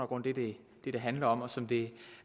grund det det handler om og som det